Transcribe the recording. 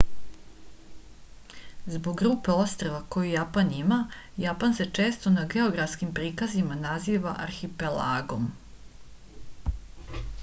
zbog grupe ostrva koju japan ima japan se često na geografskim prikazima naziva arhipelagom